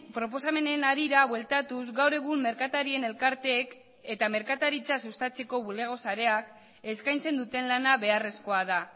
proposamenen harira bueltatuz gaur egun merkatarien elkarteek eta merkataritza sustatzeko bulego sareak eskaintzen duten lana beharrezkoa da